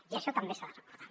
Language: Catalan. i això també s’ha de recordar